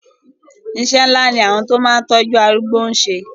Iṣẹ́ ńlá ni àwọn tí ó máa ń tọ́jú arúgbó ń ṣe.